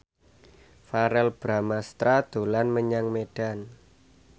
Verrell Bramastra dolan menyang Medan